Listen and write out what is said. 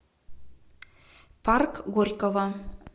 парк горького